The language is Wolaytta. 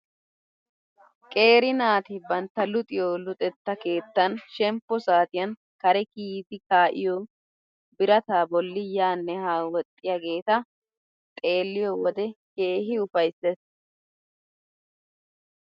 Qeeri naati bantta luxiyoo luxetta keettan shemppo saatiyan kare kiyidi ka'iyoo birataa bolli yaanne haa woxxiyageta xeelliyoo wode keehi ufayssees.